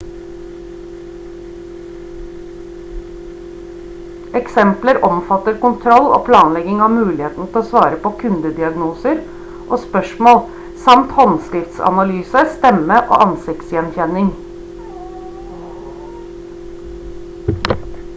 eksempler omfatter kontroll og planlegging av muligheten til å svare på kundediagnoser og spørsmål samt håndskriftsanalyse stemme og ansikts gjenkjenning